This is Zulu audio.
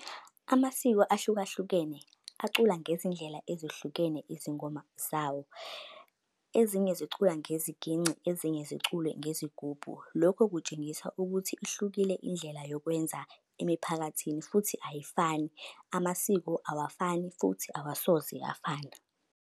Amasiko ahlukahlukene acula ngezindlela ezihlukene izingoma zawo. Ezinye zicula ngeziginci, ezinye zicule ngezigubhu. Lokho kutshengisa ukuthi ihlukile indlela yokwenza emiphakathini futhi ayifani, amasiko awafani, futhi awasoze afana.